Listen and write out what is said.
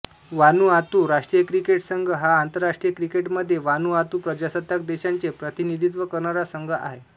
Vanuatu राष्ट्रीय cricket संघ हा आंतरराष्ट्रीय क्रिकेटमध्ये वानुआतू प्रजासत्ताक देशाचे प्रतिनिधित्व करणारा संघ आहे